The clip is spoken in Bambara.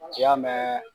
K'i y'a mɛn